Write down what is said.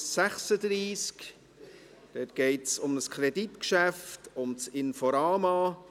Hier geht es um ein Kreditgeschäft, um das Inforama.